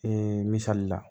Ee misali la